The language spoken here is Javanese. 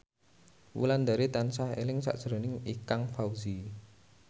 Wulandari tansah eling sakjroning Ikang Fawzi